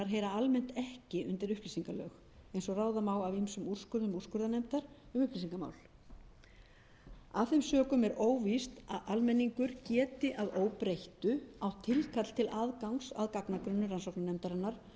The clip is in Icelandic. heyra almennt ekki undir upplýsingalög eins og ráða má af ýmsum úrskurðum úrskurðarnefndar um upplýsingamál af þeim sökum er óvíst að almenningur geti að óbreyttu átt tilkall til aðgangs að að gagnagrunni rannsóknarnefndarinnar